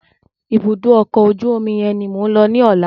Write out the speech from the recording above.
Ibùdó ọkọ̀ ojú omi yẹn ni mò ń lọ tomorrow.